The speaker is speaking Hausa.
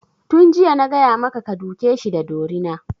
Tun jiya na gaya maka ka duke shi da dorina!